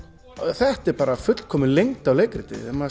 þetta er bara fullkomin lengd á leikriti maður